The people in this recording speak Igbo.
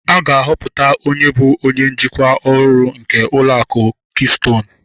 A ga-ahọpụta onye bụ onye njikwa ọhụrụ nke ụlọ akụ kistonu